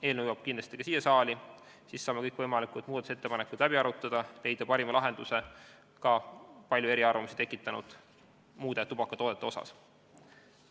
Eelnõu jõuab kindlasti ka siia saali, siis saame kõik võimalikud muudatusettepanekud läbi arutada ja leida parima lahenduse ka palju eriarvamusi tekitanud muude tubakatoodete asjus.